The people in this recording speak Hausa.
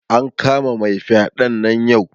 An kama mai fyaɗen nan yau